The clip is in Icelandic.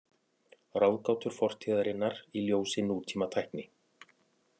Ráðgátur fortíðarinnar í ljósi nútímatækni.